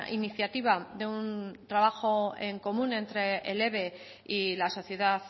iniciativa de un trabajo en común entre el eve y la sociedad